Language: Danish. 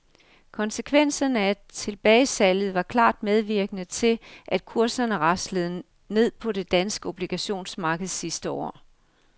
Konsekvenserne af tilbagesalget var klart medvirkende til, at kurserne raslende ned på det danske obligationsmarked sidste år.